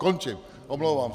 Končím, omlouvám se.